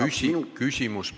Küsimus palun, Enn!